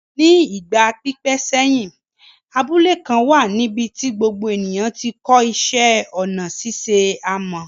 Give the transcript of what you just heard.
Ní ìgbà pípẹ́ sẹ́yìn, abúlé kan wà níbi tí gbogbo ènìyàn ti kọ́ iṣẹ́ ọnà ṣíṣe amọ̀.